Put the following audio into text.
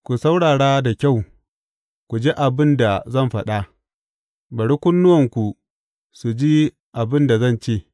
Ku saurara da kyau ku ji abin da zan faɗa; bari kunnuwanku su ji abin da zan ce.